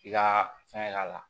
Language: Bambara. I ka fɛn k'a la